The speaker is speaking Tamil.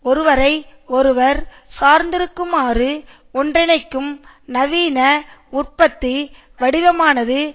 ஒருவரை ஒருவர் சார்திருக்குமாறு ஒன்றிணைக்கும் நவீன உற்பத்தி வடிவமானது